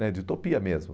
né de utopia mesmo.